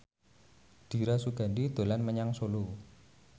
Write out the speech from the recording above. Dira Sugandi dolan menyang Solo